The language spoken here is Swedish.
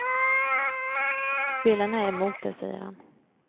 Spelarna är emot det, säger han.